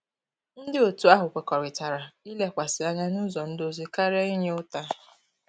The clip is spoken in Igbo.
Ndị otu ahụ kwekọrịtara ilekwasị anya nụzọ ndozi karịa inye ụta.